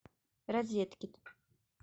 розеткед